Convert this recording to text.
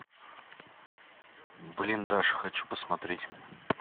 блиндаж хочу посмотреть